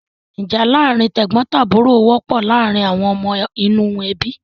Ìjà láàárin tẹ̀gbọ́ntàbúrò wọ́pọ̀ láàárin àwọn ọmọ inú ẹbí.